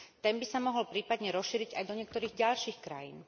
Ten by sa mohol prípadne rozšíriť aj do niektorých ďalších krajín.